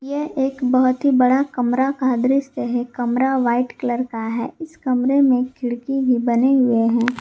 यह एक बहुत ही बड़ा कमरा का दृश्य है कमरा व्हाइट कलर का है इस कमरे में खिड़की ही बने हुए हैं।